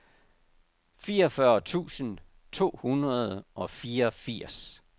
fireogfyrre tusind to hundrede og fireogfirs